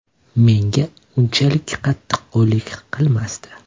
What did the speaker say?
Menga unchalik qattiqqo‘llik qilmasdi.